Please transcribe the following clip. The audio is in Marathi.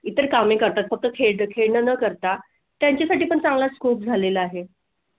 इतर कामे करतात फक्त खेळ न करता त्याच्या साठी पण चांगल्याच खूप झालेले आहे